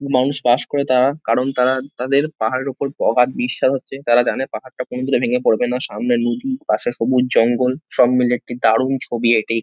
মানুষ বাস করে তারা কারণ তারা তাদের পাহাড়ের ওপর অগাধ বিশ্বাস আছে তারা জানে পাহাড়টা কোনদিনও ভেঙে পড়বে না সামনে নদী পাশে সবুজ জঙ্গল সব মিলিয়ে একটি দারুণ ছবি এটি।